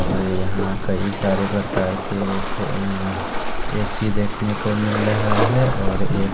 और यहा कई सारे प्रकार के ए सी देखने को मिल रहा है और एक--